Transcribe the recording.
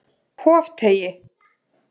Hofteigi